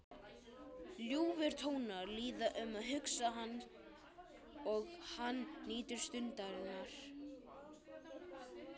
Ljúfir tónar líða um huga hans og hann nýtur stundarinnar.